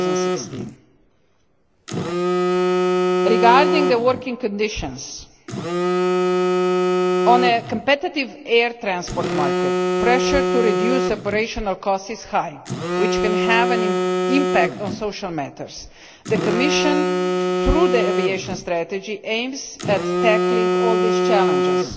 2016. Regarding working conditions, in a competitive air transport market, pressure to reduce operational costs is high, which can have an impact on social matters. The Commission, through the aviation strategy, aims to tackle all these challenges.